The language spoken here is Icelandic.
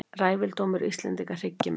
Ræfildómur Íslendinga hryggir mig.